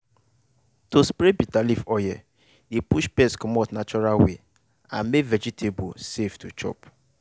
to spray bitter leaf oil dey push pest commot natural way and make vegetable safe to chop.